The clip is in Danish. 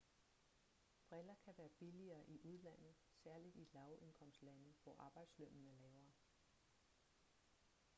briller kan være billigere i udlandet særligt i lav-indkomstlande hvor arbejdslønnen er lavere